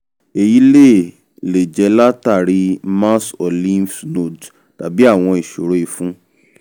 èyí lè lè jẹ́ látàrí mass or lymph nodes tàbí àwọn ìṣòro ìfun